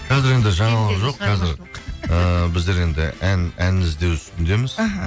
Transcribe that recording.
қазір енді жаңалық жоқ қазір ыыы біздер енді ән іздеу үстіндеміз іхі